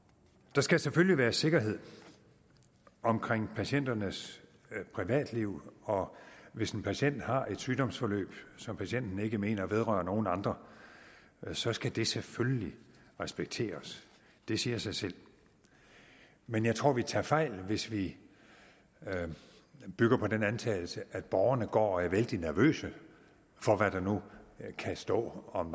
der skal selvfølgelig være sikkerhed om patienternes privatliv og hvis en patient har et sygdomsforløb som patienten ikke mener vedrører nogen andre så skal det selvfølgelig respekteres det siger sig selv men jeg tror vi tager fejl hvis vi bygger på den antagelse at borgerne går og er vældig nervøse for hvad der nu kan stå om